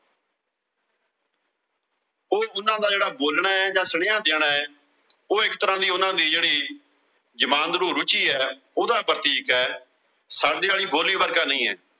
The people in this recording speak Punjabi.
ਉਹ ਉਨ੍ਹਾਂ ਦਾ ਜਿਹੜਾ ਬੋਲਣਾ ਜਾਂ ਸੁਨੇਹਾ ਦੇਣਾ, ਉਹ ਇੱਕ ਤਰ੍ਹਾਂ ਦੀ ਉਨ੍ਹਾਂ ਦੀ ਜਿਹੜੀ ਜ਼ਮਾਂਦਰੂ ਰੁਚੀ ਆ, ਉਹਦਾ ਪ੍ਰਤੀਕ ਆ। ਸਾਡੇ ਆਲੀ ਬੋਲੀ ਵਰਗਾ ਨਈ ਆ।